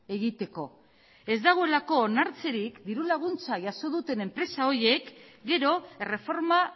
egiteko ez dagoelako onartzerik dirulaguntza jaso duten enpresa horiek gero erreforma